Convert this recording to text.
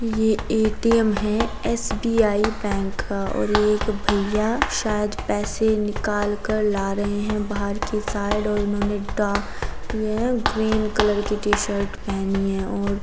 ये एक ए.टी.एम. है एस.बी.आई. बैंक का और एक ये भईया शायद पैसे निकाल के ला रहे है बाहर के साइड और इन्होंने डा ये ग्रीन कलर की टी-शर्ट पहनी है और --